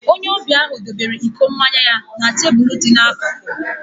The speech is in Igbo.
Onye ọbịa ahụ debere iko mmanya ya na okporoko dị n'akụkụ.